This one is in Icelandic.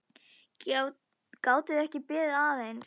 Gátuð þið ekki beðið aðeins?